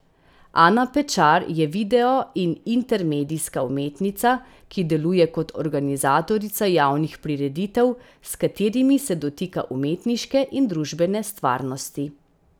Ana Pečar je video in intermedijska umetnica, ki deluje kot organizatorica javnih prireditev, s katerimi se dotika umetniške in družbene stvarnosti.